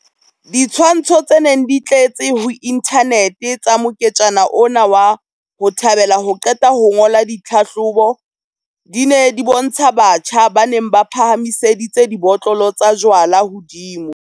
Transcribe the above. Ditshwantsho tse neng di tletse ho inthanete tsa moketjana ona wa 'ho thabela ho qeta ho ngola ditlhahlobo', di ne di bontsha batjha ba neng ba phahamiseditse dibotlolo tsa jwalo hodimo.